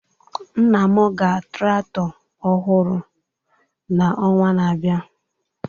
Nna m ga traktọ ọhụrụ n'ọnwa na-abịa